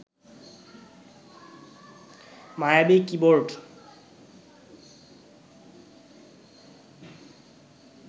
মায়াবী কিবোর্ড